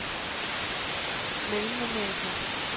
Mellemamerika